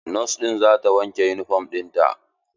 Nos ɗin za ta wanke yunifom ɗin ta.